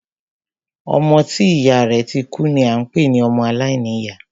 Ọmọ tí ìyá rẹ̀ ti kú ni a ń pé ní ọmọ aláìníyá.